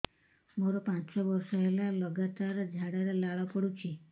ମୋରୋ ପାଞ୍ଚ ବର୍ଷ ହେଲା ଲଗାତାର ଝାଡ଼ାରେ ଲାଳ ବାହାରୁଚି